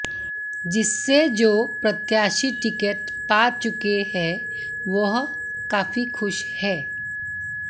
जिससे जो प्रत्याशी टिकट पा चुके है वह काफी खुश है